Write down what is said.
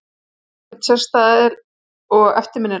Voru þær ekki sérstæðar og eftirminnilegar?